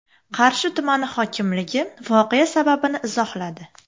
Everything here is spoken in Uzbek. Qarshi tumani hokimligi voqea sababini izohladi.